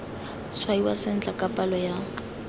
tshwaiwa sentle ka palo ya